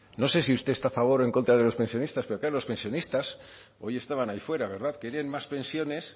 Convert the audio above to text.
no sé si usted está a favor o en contra de los pensionistas pero claro los pensionistas hoy estaban ahí fuera verdad quieren más pensiones